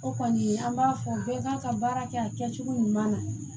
O kɔni an b'a fɔ bɛɛ k'a ka baara kɛ a kɛcogo ɲuman na